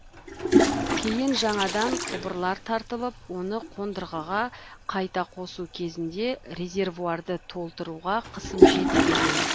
кейін жаңадан құбырлар тартылып оны қондырғыға қайта қосу кезінде резервуарды толтыруға қысым жетпеген